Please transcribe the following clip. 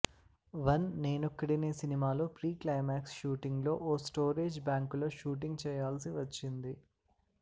one Nenokkadine సినిమాలో pre climax షూటింగ్లో ఓ స్టోరేజ్ బ్యాంకులో షూటింగ్ చేయాల్సి వచ్చింది